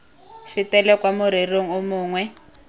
fetele kwa morerong o mongwe